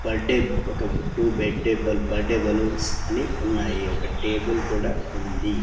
Birthday ఒక two bed a birthday balloons అని ఉన్నాయి ఒక టేబుల్ కూడా ఉంది.